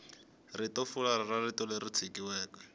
ritofularha ra rito leri tikisiweke